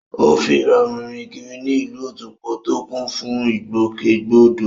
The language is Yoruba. Ó fi ìrọ̀rùn rìn kiri ní ìlú Otukpo tó kún fún ìgbòkègbodò